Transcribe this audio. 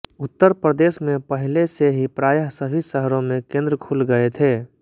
उत्तर प्रदेश में पहिले से ही प्रायः सभी शहरों में केन्द्र खुल गये थे